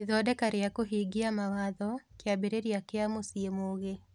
Ithondeka rĩa kũhingia mawatho: Kĩambĩrĩria kĩa Mũciĩ Mũgĩ